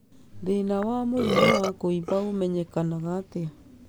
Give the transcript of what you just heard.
Thĩna wa mũrimũ wa kũimba ũmenyekaga atĩa?